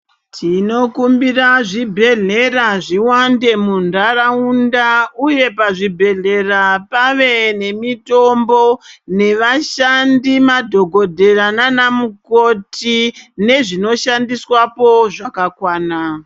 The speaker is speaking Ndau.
Tinokumbira zvibhedhlera zviwande muntaraunda uye pazvibhehlera pave nemitombo, nevashandi madhogodhera naana mukoti nezvinoshandiswapo zvakakwana.